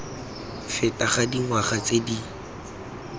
feta ga dingwaga tse di